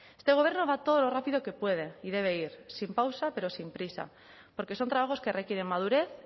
este gobierno va todo lo rápido que puede y debe ir sin pausa pero sin prisa porque son trabajos que requieren madurez